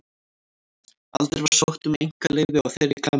Aldrei var sótt um einkaleyfi á þeirri klemmu.